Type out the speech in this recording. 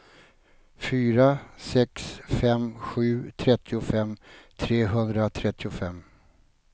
fyra sex fem sju trettiofem trehundratrettiofem